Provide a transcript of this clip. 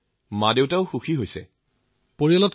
হয় মহোদয়